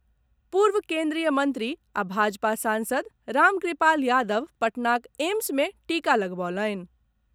पूर्व केन्द्रीय मंत्री आ भाजपा सांसद रामकृपाल यादव पटनाक एम्स मे टीका लगबौलनि।